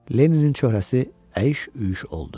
Lenninin cöhrəsi əyş-üyş oldu.